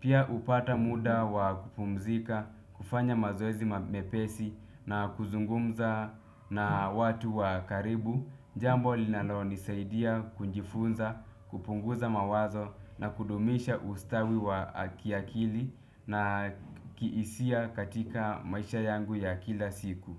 Pia hupata muda wa kupumzika, kufanya mazoezi mepesi na kuzungumza na watu wa karibu. Jambo linalonisaidia kujifunza, kupunguza mawazo na kudumisha ustawi wa kiakili na kihisia katika maisha yangu ya kila siku.